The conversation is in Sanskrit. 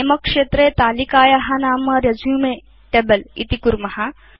नमे क्षेत्रे तालिकाया नाम रेसुमे टेबल इति कुर्म